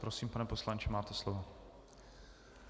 Prosím, pane poslanče, máte slovo.